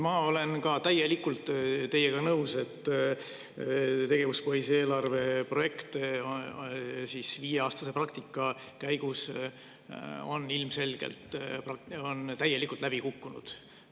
Ma olen ka täielikult teiega nõus, et tegevuspõhise eelarve projekt viieaastase praktika käigus on ilmselgelt täiesti läbi kukkunud.